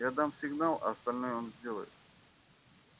я дам сигнал а остальное он сделает